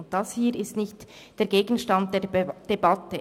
Das ist hier nicht Gegenstand der Debatte.